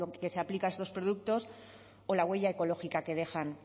que se aplica a estos productos o la huella ecológica que dejan